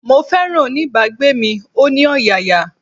Mo féràn oní bá gbé mi, ó ní ọ̀yàyà.